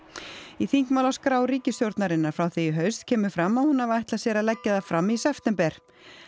í þingmálaskrá ríkisstjórnarinnar frá því í haust kemur fram að hún hafi ætlað sér að leggja það fram í september